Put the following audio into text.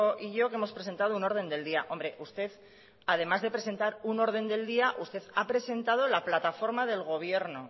y yo que hemos presentado un orden del día hombre usted además de presentar un orden del día usted ha presentado la plataforma del gobierno